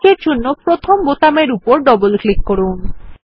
এই কাজের জন্য প্রথমে বোতামের উপর ডবল ক্লিক করুন